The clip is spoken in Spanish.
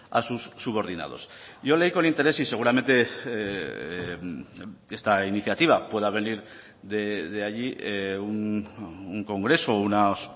a sus subordinados yo leí con interés y seguramente esta iniciativa pueda venir de allí un congreso unas